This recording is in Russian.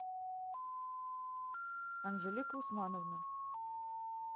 анжелика усмановна